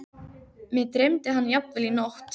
Mig dreymdi hann jafnvel í nótt.